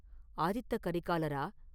Aditha கரிகாலரா?